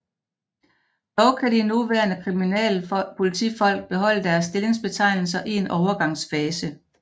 Dog kan de nuværende kriminalpolitifolk beholde deres stillingsbetegnelser i en overgangsfase